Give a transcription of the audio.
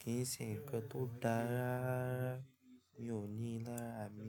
kì í ṣe ǹkan tó da rárá, mi ò ní lárá mi.